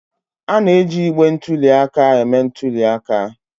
A na-eji igbe ntụli aka eme ntuli aka.